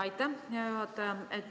Aitäh, hea juhataja!